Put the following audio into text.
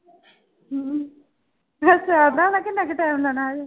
ਹਮ ਅੱਛਾ ਹੋਣਾ ਕਿੰਨਾ ਕੁ time ਲਾਉਣਾ ਹਜੇ